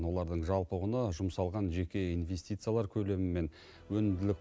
олардың жалпы құны жұмсалған жеке инвестициялар көлемі мен өнімділік